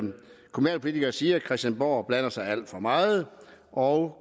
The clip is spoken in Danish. kommunalpolitikere siger at christiansborg blander sig alt for meget og